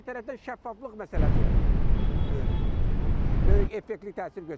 Digər tərəfdən şəffaflıq məsələsi böyük effektiv təsir göstərəcək.